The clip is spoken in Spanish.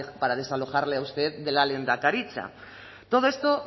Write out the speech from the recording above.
para desalojarle a usted de la lehendakaritza todo esto